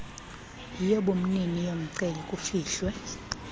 yobumnini yomceli kufihlwe